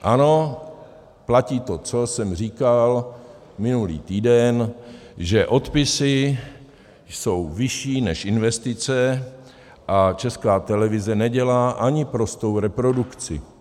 Ano, platí to, co jsem říkal minulý týden, že odpisy jsou vyšší než investice a Česká televize nedělá ani prostou reprodukci.